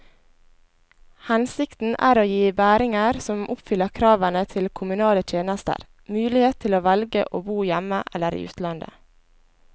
Hensikten er å gi bæringer som oppfyller kravene til kommunale tjenester, mulighet til å velge å bo hjemme eller i utlandet.